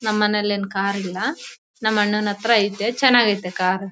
ನಮ್ಮನೇಲೇನು car ಇಲ್ಲ ನಮ್ಮಣ್ಣನ ಹತ್ರ ಐತೆ ಚೆನ್ನಾಗೈತೆ ಕಾರ್ .